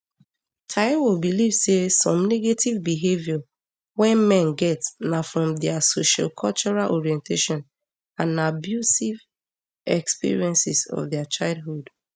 taiwo believe say some negative behaviour wey men get na from di socialcultural orientation and abusive um experiences of dia childhood